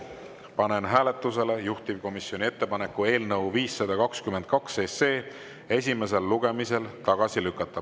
Panen hääletusele juhtivkomisjoni ettepaneku eelnõu 522 esimesel lugemisel tagasi lükata.